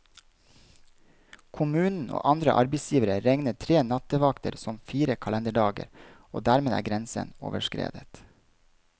Kommunen og andre arbeidsgivere regner tre nattevakter som fire kalenderdager, og dermed er grensen overskredet.